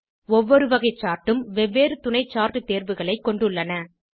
ஒவ்வொரு வகை சார்ட் உம் வெவ்வேறு துணை சார்ட் தேர்வுகளைக் கொண்டுள்ளன